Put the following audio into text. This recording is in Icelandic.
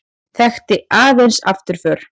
Þekkti aðeins afturför.